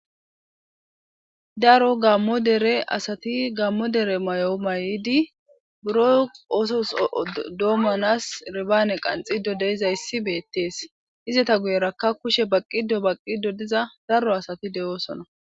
daro gammo dere asati gammo dere may7o may7idi buro osos doomanas ribaane qanxido deizayssi beettees izata guyerakka kushe baqqido baqqido diza daro asati de7oosona